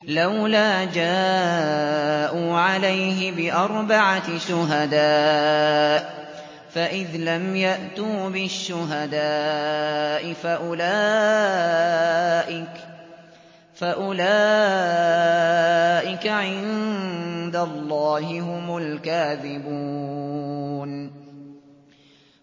لَّوْلَا جَاءُوا عَلَيْهِ بِأَرْبَعَةِ شُهَدَاءَ ۚ فَإِذْ لَمْ يَأْتُوا بِالشُّهَدَاءِ فَأُولَٰئِكَ عِندَ اللَّهِ هُمُ الْكَاذِبُونَ